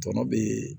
Tɔnɔ bɛ yen